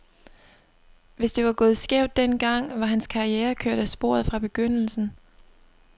Hvis det var gået skævt den gang, var hans karriere kørt af sporet fra begyndelsen.